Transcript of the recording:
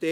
(AND).